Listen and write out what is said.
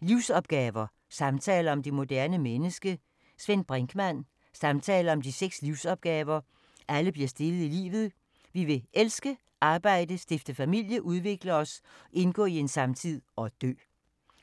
Livsopgaver: samtaler om det moderne menneske Svend Brinkmann Samtaler om de seks livsopgaver, alle bliver stillet i livet: vi skal elske, arbejde, stifte familie, udvikle os, indgå i en samtid og dø.